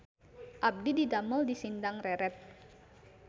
Abdi didamel di Sindang Reret